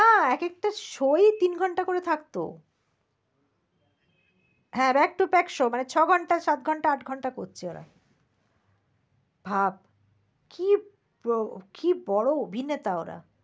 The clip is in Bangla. হ্যাঁ এক একটা show ই তিন ঘন্টা করে থাকত। হ্যাঁ back to back show মানে ছ ঘন্টা সাত ঘন্টা আট ঘন্টা করছে এরা। ভাব কি ব~বড় অভিনেতা ওরা